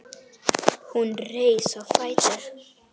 Hún reis á fætur.